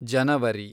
ಜನವರಿ